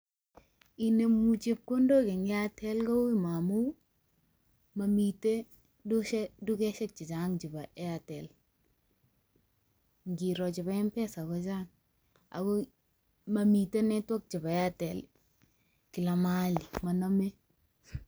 Inemu chepkondok eng Airtel ko ui momun, momitei doshe dukeshek chechang chebo Airtel. Ngiro chebo Mpesa ko chang, ago mamite network chebo Airtel kila mahali. Moname.